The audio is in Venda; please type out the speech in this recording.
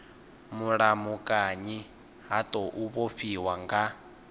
mulamukanyi ha tou vhofhiwa nga